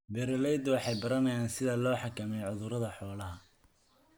Beeraleydu waxay baranayaan sida loo xakameeyo cudurrada xoolaha.